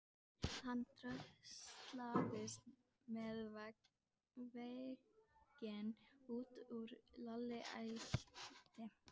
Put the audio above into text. Það lekur blóð úr sárum handleggjum þeirra.